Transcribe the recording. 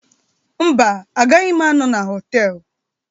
Mba, agaghị m anọ na họtel.